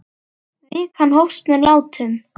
Vikan hófst með látum.